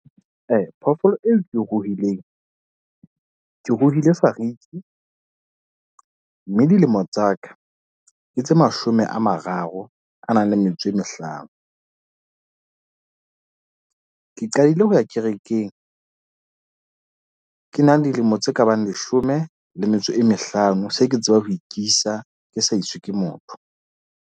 Phoofolo eo ke ruhileng, ke ruile fariki. Mme dilemo tsa ka ke tse mashome a mararo a nang le metso e mehlano. Ke qadile ho ya kerekeng, ke na le dilemo tse kabang leshome le metso e mehlano. Se ke tsebang ho ikisa ke sa iswe ke motho.